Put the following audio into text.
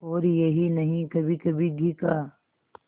और यही नहीं कभीकभी घी का